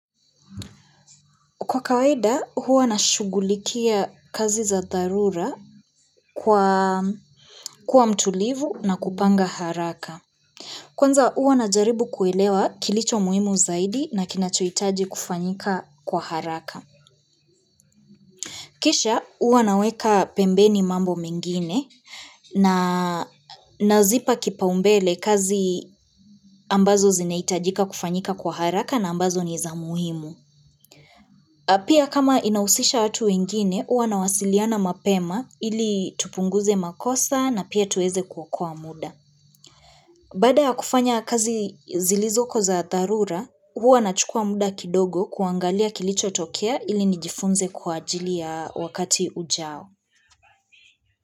Kwa kawaida huwa nashugulikia kazi za dharura kuwa mtulivu na kupanga haraka. Kwanza huwa najaribu kuelewa kilicho muhimu zaidi na kinachoitaji kufanyika kwa haraka. Kisha huwa naweka pembeni mambo mengine na nazipa kipaumbele kazi ambazo zinaitajika kufanyika kwa haraka na ambazo ni za muhimu. Pia kama inahusisha watu wengine, huwa nawasiliana mapema ili tupunguze makosa na pia tuweze kuokoa muda. Baada ya kufanya kazi zilizoko za dharura, huwa nachukua muda kidogo kuangalia kilichotokea ili nijifunze kwa ajili ya wakati ujao.